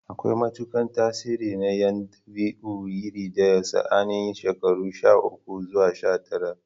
Akwai matukar tasiri na yin dabi'u iri ɗaya ga sa'anni yan shekaru sha uku zuwa sha tara.